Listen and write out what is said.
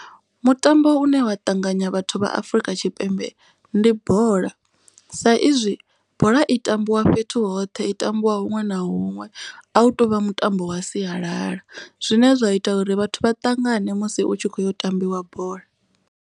Mutambo une wa ṱanganya vhathu vha Afrika Tshipembe ndi bola. Sa izwi bola i tambiwa fhethu hoṱhe i tambiwa huṅwe na huṅwe. A hu tovha mutambo wa sialala zwine zwa ita uri vhathu vha ṱangane musi utshi kho yo tambiwa bola.